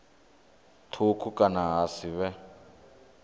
thukhu kana ha si vhe